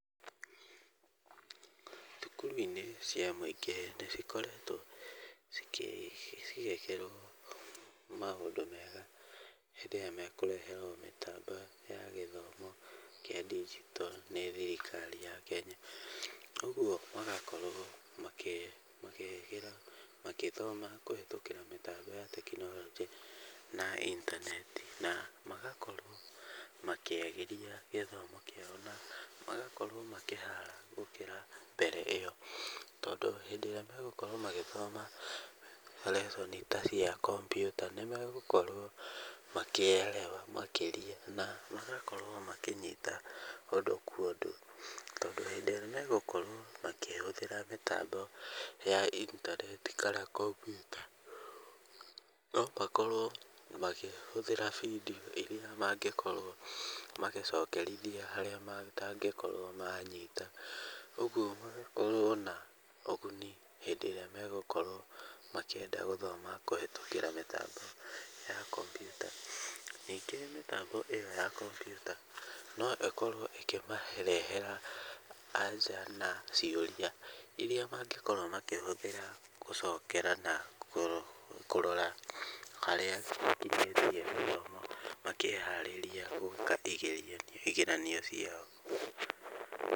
Thukuru-inĩ cia mũingĩ nĩcikoretwo cigĩkĩrwo maũndũ mega hĩndĩ ĩrĩa mekũreherwo mĩtambo ya gĩthomo kĩa ndigito nĩ thirikari ya Kenya, ũguo magakorwo makĩgera magĩthoma kũhĩtũkĩra mĩtambo ya tekinoronjĩ na intaneti, na magakorwo makĩagĩria gĩthomo kĩao na magakorwo makĩhara gũkĩra mbere ĩyo. Tondũ hĩndĩ ĩrĩa megũkorwo magĩthoma lesson i ta cia kompiuta nĩmegũkorwo makĩerewa makĩria na magakorwo makĩnyita ũndũ kwa ũndũ, tondũ hĩndĩ ĩrĩa megũkorwo makĩhũthĩra mĩtambo ya intaneti kana kompiuta no makorwo makĩhũthĩra bidiũ iria mangĩkorwo magĩcokerithia harĩa matangĩkorwo manyita, ũguo magakorwo na ũguni hĩndĩ ĩrĩa megũkorwo makĩenda gũthoma kũhĩtũkĩra mĩtambo ya kompiuta . Ningĩ mĩtambo ĩyo ya kompiuta no ĩkorwo ĩkĩmarehera anja na ciũria iria mangĩkorwo makĩhũthĩra gũcokera na kũrora harĩa makinyĩtie gĩthomo makĩharĩria gwĩka igerio, igeranio ciao.